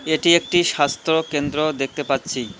এটি একটি স্বাস্থ্য কেন্দ্র দেখতে পাচ্ছি।